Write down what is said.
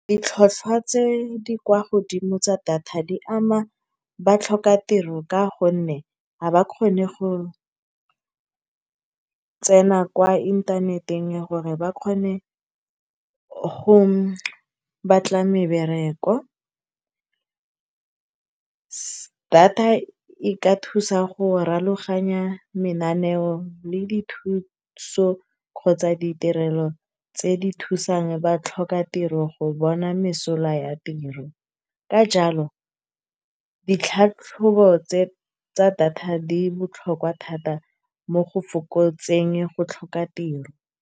Ditlhwatlhwa tse di kwa godimo tsa data di ama batlhoka tiro, ka gonne ga ba kgone go tsena kwa inthaneteng gore ba kgone go batla mebereko. Data e ka thusa go rulaganya mananeo le dithuso kgotsa ditirelo tse di thusang batlhoka tiro go bona mesola ya tiro. Ka jalo, ditlhatlhobo tse, tsa data di botlhokwa thata mo go fokotseng go tlhoka tiro.